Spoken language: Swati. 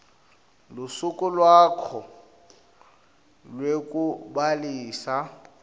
lusuku lwakho lwekubhalisa